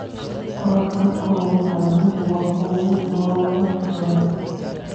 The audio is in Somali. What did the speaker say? Qoraalkan kooban ayaa mid walba uga jawaabaya su'aalahan.